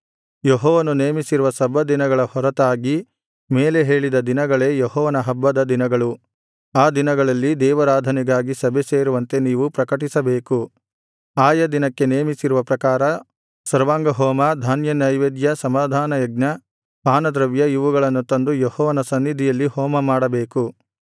ಯೆಹೋವನು ನೇಮಿಸಿರುವ ಸಬ್ಬತ್ ದಿನಗಳ ಹೊರತಾಗಿ ಮೇಲೆ ಹೇಳಿದ ದಿನಗಳೇ ಯೆಹೋವನ ಹಬ್ಬದ ದಿನಗಳು ಆ ದಿನಗಳಲ್ಲಿ ದೇವಾರಾಧನೆಗಾಗಿ ಸಭೆಸೇರುವಂತೆ ನೀವು ಪ್ರಕಟಿಸಬೇಕು ಆಯಾ ದಿನಕ್ಕೆ ನೇಮಿಸಿರುವ ಪ್ರಕಾರ ಸರ್ವಾಂಗಹೋಮ ಧಾನ್ಯನೈವೇದ್ಯ ಸಮಾಧಾನಯಜ್ಞ ಪಾನದ್ರವ್ಯ ಇವುಗಳನ್ನು ತಂದು ಯೆಹೋವನ ಸನ್ನಿಧಿಯಲ್ಲಿ ಹೋಮಮಾಡಬೇಕು